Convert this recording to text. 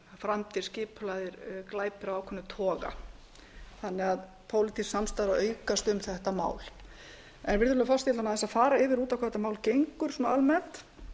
framdir skipulagðir glæpir af ákveðnum toga þannig að pólitísk samstaða er að aukast um þetta mál virðulegur forseti ég ætla aðeins að fara yfir út á hvað þetta mál gengur almennt